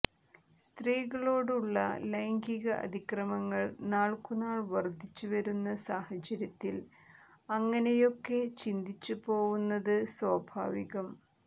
സ്ത്രീകളോടുള്ള ലൈംഗിക അതിക്രമങ്ങൾ നാൾക്കുനാൾ വർധിച്ചു വരുന്ന സാഹചര്യത്തിൽ അങ്ങനെയൊക്കെ ചിന്തിച്ചുപോവുന്നത് സ്വാഭാവികം